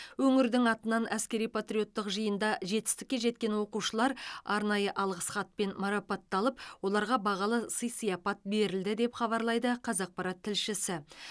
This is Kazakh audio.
өңірің атынан әскери патриоттық жиында жетістікке жеткен оқушылар арнайы алғыс хатпен марапатталып оларға бағалы сый сияпат берілді деп хабарлайды қазақпарат тілшісі